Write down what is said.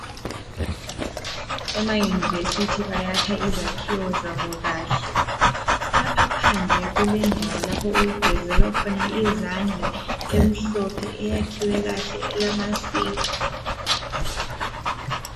Emayunivesithi, bayakha izakhiwo zabo kahle lapha phandle kulendawo lapho okugezelwa izandla eyakhwe kahle emhlophe elamasinki.